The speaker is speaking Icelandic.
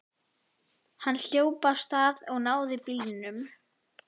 Hann hljóp af stað og náði bílnum.